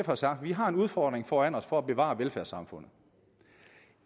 har sagt at vi har en udfordring foran os for at kunne bevare velfærdssamfundet